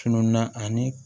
Tununna ani